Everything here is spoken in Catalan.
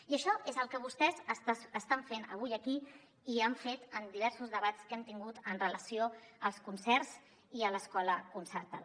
i això és el que vostès estan fent avui aquí i han fet en diversos debats que hem tingut amb relació als concerts i a l’escola concertada